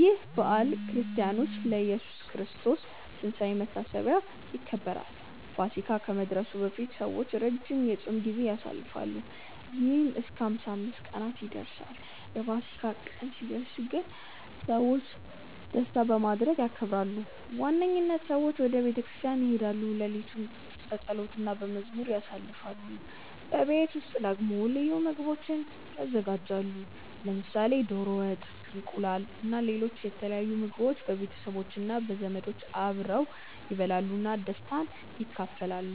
ይህ በዓል በክርስቲያኖች ለኢየሱስ ክርስቶስ ትንሳኤ መታሰቢያ ይከበራል። ፋሲካ ከመድረሱ በፊት ሰዎች ረጅም የጾም ጊዜ ያሳልፋሉ፣ ይህም እስከ 55 ቀናት ይደርሳል። የፋሲካ ቀን ሲደርስ ግን ሰዎች ደስታ በማድረግ ያከብራሉ። በዋነኝነት ሰዎች ወደ ቤተ ክርስቲያን ይሄዳሉ፣ ሌሊቱን በጸሎት እና በመዝሙር ያሳልፋሉ። በቤት ውስጥ ደግሞ ልዩ ምግቦች ይዘጋጃሉ፣ ለምሳሌ ዶሮ ወጥ፣ እንቁላል እና ሌሎች የተለያዩ ምግቦች። ቤተሰቦች እና ዘመዶች አብረው ይበላሉ እና ደስታን ይካፈላሉ።